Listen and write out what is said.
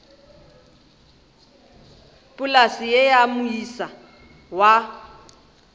polase ye ya moisa wa